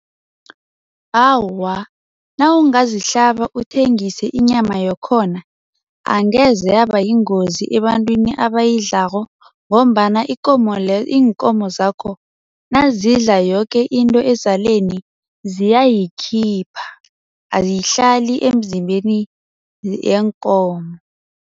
Awa, nawungazihlaba uthengise inyama yakhona angeze yabayingozi ebantwini abayidlalako ngombana ikomo iinkomo zakho nazidla yoke into ezaleni ziyayikhipha, ayihlali emzimbeni yeenkomo.